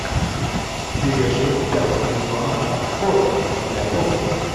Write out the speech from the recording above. серия шесть пятого сезона анкора земля бога